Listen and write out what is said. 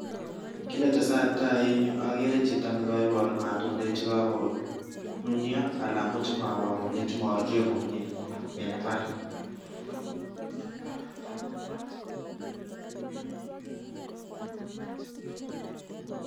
Kiit ne tesetai eng yu, ageere chito nekaipor matundek chekakonunio alak ko chemabwa komnye, chemaruryo komnye eng imbaar.